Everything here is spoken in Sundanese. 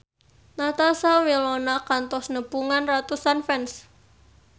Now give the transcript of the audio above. Natasha Wilona kantos nepungan ratusan fans